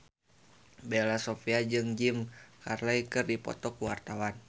Bella Shofie jeung Jim Carey keur dipoto ku wartawan